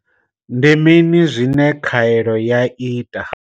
Ndi mini zwine khaelo ya ita?